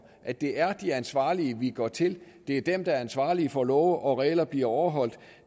at det er de ansvarlige vi går til at det er dem der er ansvarlige for at love og regler bliver overholdt og